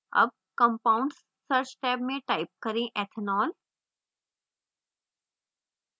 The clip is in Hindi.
tab compounds search टैब में type करें ethanol